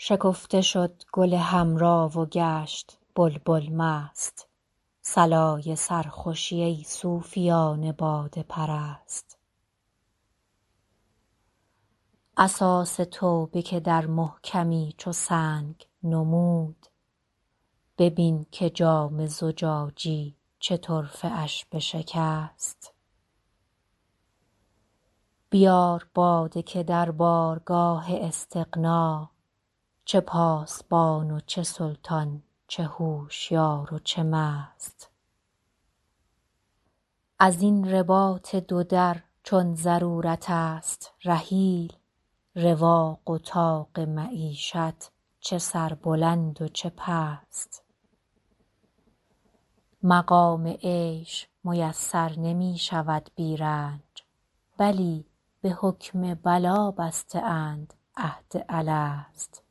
شکفته شد گل حمرا و گشت بلبل مست صلای سرخوشی ای صوفیان باده پرست اساس توبه که در محکمی چو سنگ نمود ببین که جام زجاجی چه طرفه اش بشکست بیار باده که در بارگاه استغنا چه پاسبان و چه سلطان چه هوشیار و چه مست از این رباط دو در چون ضرورت است رحیل رواق و طاق معیشت چه سربلند و چه پست مقام عیش میسر نمی شود بی رنج بلی به حکم بلا بسته اند عهد الست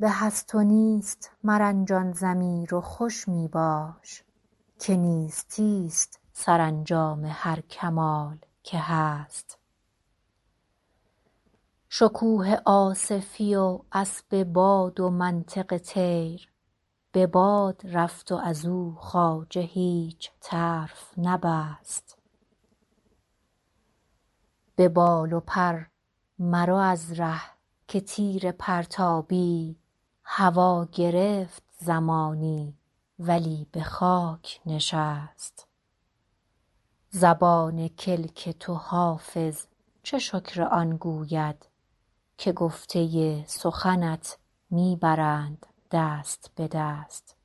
به هست و نیست مرنجان ضمیر و خوش می باش که نیستی ست سرانجام هر کمال که هست شکوه آصفی و اسب باد و منطق طیر به باد رفت و از او خواجه هیچ طرف نبست به بال و پر مرو از ره که تیر پرتابی هوا گرفت زمانی ولی به خاک نشست زبان کلک تو حافظ چه شکر آن گوید که گفته سخنت می برند دست به دست